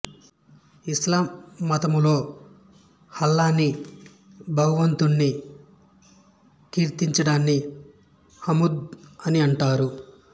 ఇస్లాం మతములో అల్లాహ్ను భగవంతుణ్ణి కీర్తించడాన్ని హమ్ద్ అని అంటారు